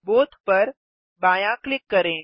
both पर बायाँ click करें